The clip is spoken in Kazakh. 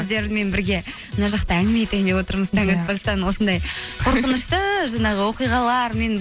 сіздермен бірге мына жақта әңгіме айтайын деп отырмыз таң атпастан осындай қорқынышты жаңағы оқиғалармен